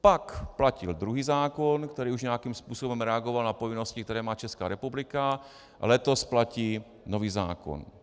Pak platil druhý zákon, který už nějakým způsobem reagoval na povinnosti, které má Česká republika, letos platí nový zákon.